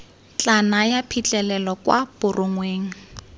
tla naya phitlhelelo kwa borongweng